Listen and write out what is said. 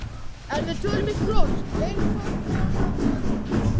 En við tölum í kross, eins og konan sagði.